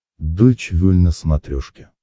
дойч вель на смотрешке